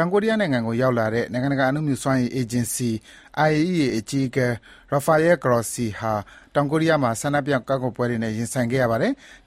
င်ကိုရီးယားနိုင်ငံကို ရောက်လာတဲ့ နိုင်ငံတကာ အနုမြူစွမ်းအင်အေဂျင်စီ (IAEA) အကြီးအကဲ Rafael Grossi ဟာ တောင်ကိုရီးယားမှာ ဆန္ဒပြကန့်ကွက်ပွဲတွေနဲ့ ရင်ဆိုင်ခဲ့ရပါတယ်။